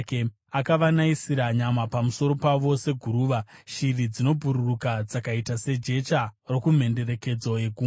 Akavanayisira nyama pamusoro pavo seguruva, shiri dzinobhururuka dzakaita sejecha rokumhenderekedzo yegungwa.